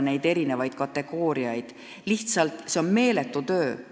See on lihtsalt meeletu töö.